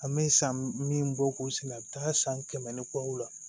An bɛ san min bɔ k'o sɛnɛ a bɛ taa san kɛmɛ ni kɔ la